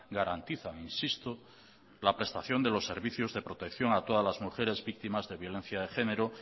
garantizan insisto la prestación de los servicios de protección a todas las mujeres víctimas de violencia de género